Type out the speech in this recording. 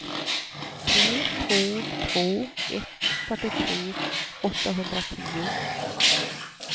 tre två två ett fyrtiotre åttahundratio